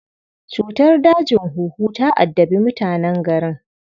Cutar dajin huhu ta addabi mutanen garin